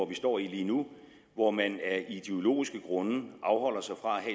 vi står i lige nu hvor man af ideologiske grunde afholder sig fra